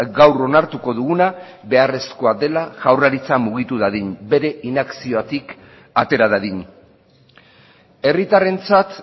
gaur onartuko duguna beharrezkoa dela jaurlaritza mugitu dadin bere inakziotik atera dadin herritarrentzat